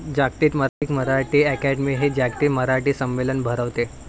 जागतिक मराठी अकादमी हि 'जागतिक मराठी संमेलन' भरवते.